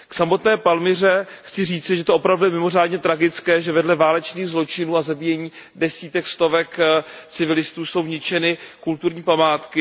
K samotné Palmyře chci říci, že to opravdu je mimořádně tragické, že vedle válečných zločinů a zabíjení desítek stovek civilistů jsou ničeny kulturní památky.